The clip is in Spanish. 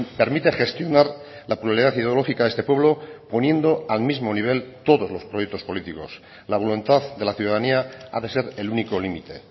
permite gestionar la pluralidad ideológica de este pueblo poniendo al mismo nivel todos los proyectos políticos la voluntad de la ciudadanía ha de ser el único límite